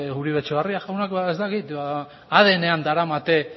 uribe etxebarria jaunak adnean daramate